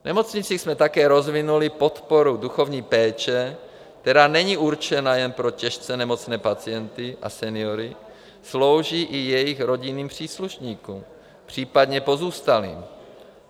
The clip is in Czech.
V nemocnicích jsme také rozvinuli podporu duchovní péče, která není určena jen pro těžce nemocné pacienty a seniory, slouží i jejich rodinným příslušníkům, případně pozůstalým.